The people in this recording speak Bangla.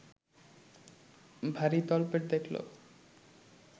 ভারী তলপেট দেখলে